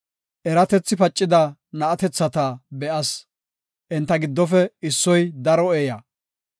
Eratethi pacida na7atethata be7as; enta giddofe issoy daro eeya.